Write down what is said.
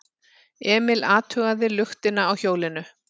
Emil athugaði luktina á hjólinu.